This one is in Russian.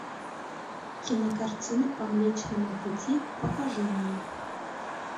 кинокартина по млечному пути покажи мне